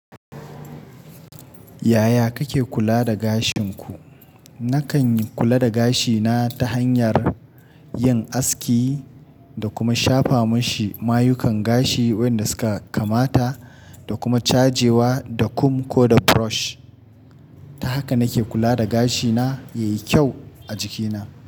Yaya kake kula da gashin ku? Nakan kula da gashina ta hanyar yin aski da kuma shafa mashi mayukan gashi waɗanda suka kamata da kuma caje wa da kum ko da brush. Ta haka nake kula da gashina yayi kyau a jikina.